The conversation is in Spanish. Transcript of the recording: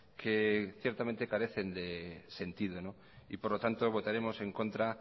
que ciertamente carecen de sentido y por lo tanto votaremos en contra